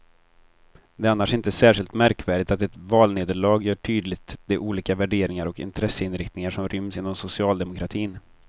Det är annars inte särskilt märkvärdigt att ett valnederlag gör tydligt de olika värderingar och intresseinriktningar som ryms inom socialdemokratin.